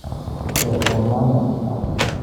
Kesomanin.